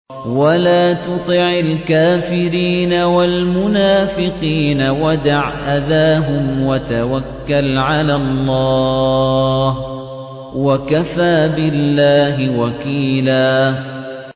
وَلَا تُطِعِ الْكَافِرِينَ وَالْمُنَافِقِينَ وَدَعْ أَذَاهُمْ وَتَوَكَّلْ عَلَى اللَّهِ ۚ وَكَفَىٰ بِاللَّهِ وَكِيلًا